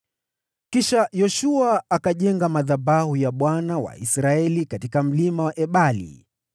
Kisha Yoshua akajenga madhabahu ya Bwana , Mungu wa Israeli, katika Mlima wa Ebali,